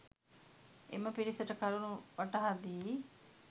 එම පිරිසට කරුණු වටහා දී